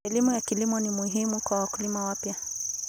Elimu ya kilimo ni muhimu kwa wakulima wapya.